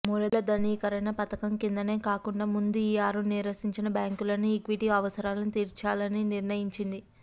మూలధనీకరణపథకం కిందనే కాకుండా ముందు ఈ ఆరు నీరసించిన బ్యాంకులకు ఈక్విటీ అవసరాలను తీర్చాలనినిర్ణయించింది